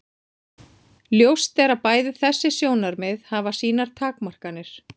Ljóst er að bæði þessi sjónarmið hafa sínar takmarkanir.